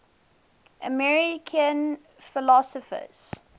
american philosophers